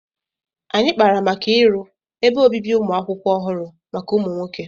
Anyị kpara maka iru ebe obibi ụmụ akwụkwọ ọhụrụ maka ụmụ nwoke